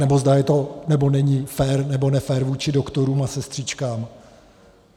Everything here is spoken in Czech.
Anebo zda je to, nebo není fér nebo nefér vůči doktorům a sestřičkám.